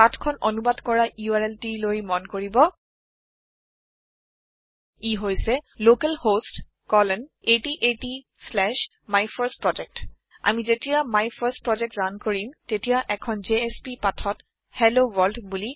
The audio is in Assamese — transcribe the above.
পাঠ খন অনুবাদ কৰা URLটি লৈ মন কৰিব ই হৈছে লোকেলহোষ্ট 8080মাইফাৰ্ষ্টপ্ৰজেক্ট আমি যেতিয়া মাইফাৰ্ষ্টপ্ৰজেক্ট ৰাণ কৰিম তেতিয়া এখন জেএছপি পাঠত HelloWorld